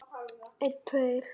Kirkjan og kortin.